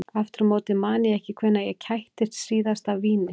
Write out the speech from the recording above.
Aftur á móti man ég ekki hvenær ég kættist síðast af víni.